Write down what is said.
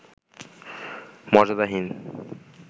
মর্যাদাহীন